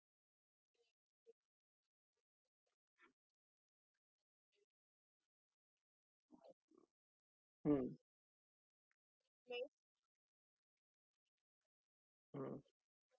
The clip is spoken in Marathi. fridge किंवा ovan काहीही book केला तर समजा तुम्ही समजा lm company च fridge तुम्ही book केला तर ती place order पहिले कंपनीकडे जाते मग amazon कडे येते.